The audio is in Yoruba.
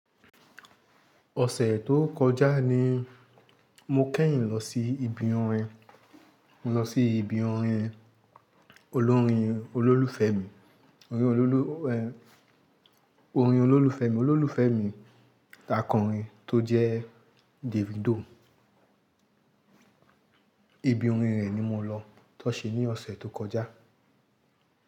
Ọ̀sẹ̀ tó kọjá ni mo kẹ́yìn lọ sí ibi orin, mo lọ sí ibi orin olórin olólùfẹ́ mi, olorin olólù, orin olólùfẹ́ mi, olólùfẹ́ mi takọrin tó jẹ́ Davido. Ibi orin rẹ̀ ni mo lọ tọ́n ṣe ní ọ̀sẹ̀ tó kọjá.